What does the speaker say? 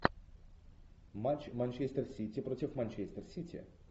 матч манчестер сити против манчестер сити